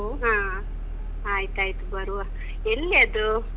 ಹ. ಆಯ್ತಾಯ್ತು ಬರುವ. ಎಲ್ಲಿ ಅದು?